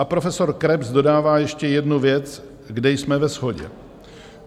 A profesor Krebs dodává ještě jednu věc, kde jsme ve shodě.